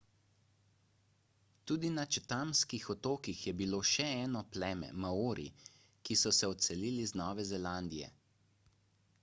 tudi na chathamskih otokih je bilo še eno pleme maori ki so se odselili z nove zelandije